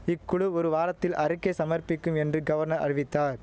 இக்குழு ஒரு வாரத்தில் அறிக்கை சமர்ப்பிக்கும் என்று கவர்னர் அறிவித்தார்